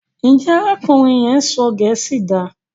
Njé arákùnrin yén sọ gèésì dá?